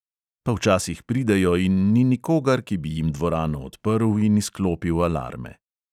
Pa včasih pridejo in ni nikogar, ki bi jim dvorano odprl in izklopil alarme.